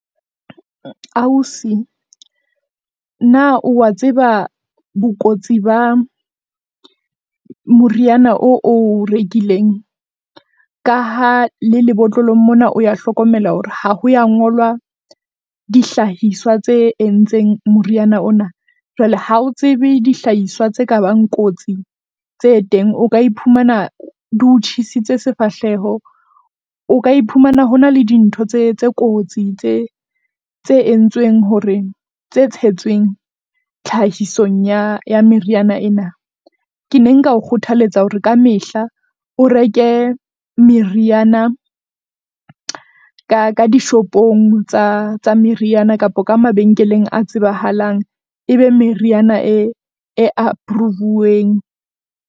Ausi, na o wa tseba bokotsi ba moriana oo o rekileng? Ka ha le lebotlolo mona o ya hlokomela hore ha ho ya ngolwa dihlahiswa tse entseng moriana ona, jwale ha o tsebe dihlahiswa tse kabang kotsi tse teng. O ka iphumana di o tjhesitse sefahleho, o ka iphumana hona le dintho tse tse kotsi tse tse entsweng hore tse tshetsweng tlhahisong ya ya meriyana ena. Ke ne nka o kgothaletsa hore ka mehla o reke meriana ka ka dishopong tsa tsa meriana kapa ka mabenkeleng a tsebahalang e be meriana e, e approve-weng.